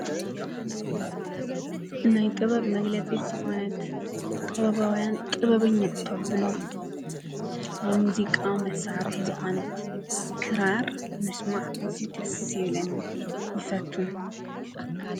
ናይ ጥበብ መግለጺት ዝኾነት ቕበባውያን ጥበበኛዕቶኣብሎ ሙዚቃ መሣርሕ ዝኾነት ክራር ምስማዕ እዙተሴለን ይፈቱ።